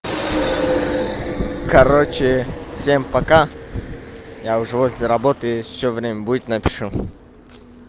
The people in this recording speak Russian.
короче всем пока я уже возле работы если ещё время будет напишу